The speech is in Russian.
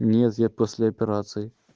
нет я после операции